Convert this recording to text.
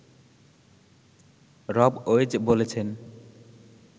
রব ওয়েজ বলেছেন